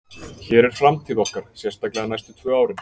Hér er framtíð okkar, sérstaklega næstu tvö árin.